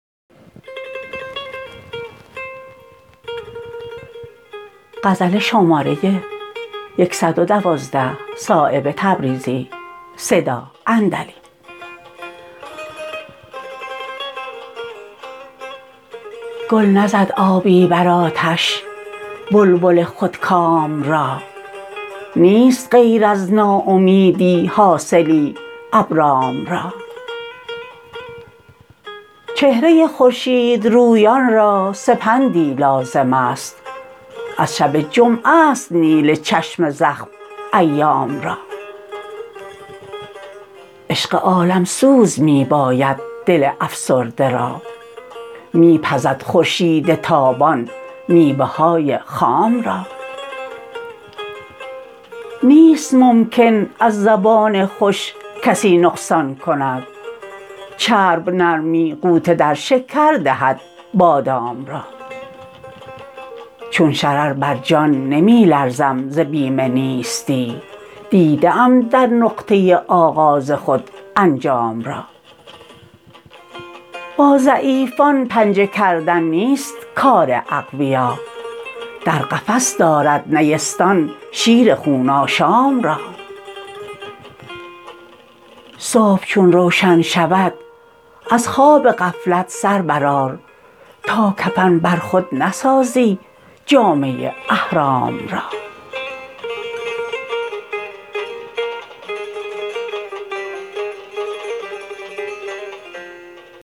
گل نزد آبی بر آتش بلبل خودکام را نیست غیر از ناامیدی حاصلی ابرام را چهره خورشید رویان را سپندی لازم است از شب جمعه است نیل چشم زخم ایام را عشق عالمسوز می باید دل افسرده را می پزد خورشید تابان میوه های خام را نیست ممکن از زبان خوش کسی نقصان کند چرب نرمی غوطه در شکر دهد بادام را چون شرر بر جان نمی لرزم ز بیم نیستی دیده ام در نقطه آغاز خود انجام را با ضعیفان پنجه کردن نیست کار اقویا در قفس دارد نیستان شیر خون آشام را صبح چون روشن شود از خواب غفلت سر برآر تا کفن بر خود نسازی جامه احرام را